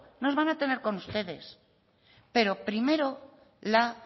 nos van a tener con ustedes pero primero la